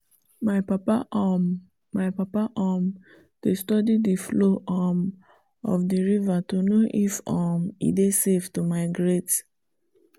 my papa um my papa um dey study the flow um of the river to know if um e dey safe to migrate